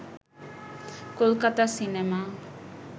Kolkata cinema